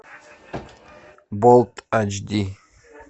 болт айчди